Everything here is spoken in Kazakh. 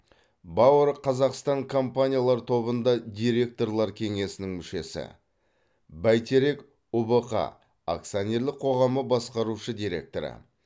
бауыр қазақстан компаниялар тобында директорлар кеңесінің мүшесі бәйтерек ұбх акционерлік қоғамы басқарушы директоры